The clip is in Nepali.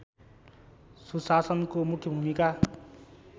सुशासनको मुख्य भूमिका